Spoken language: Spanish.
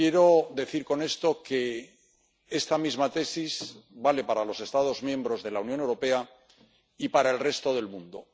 Quiero decir con esto que esta misma tesis vale para los Estados miembros de la Unión Europea y para el resto del mundo.